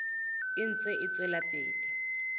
e ntse e tswela pele